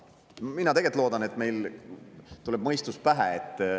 Mina tegelikult loodan, et meil tuleb mõistus pähe.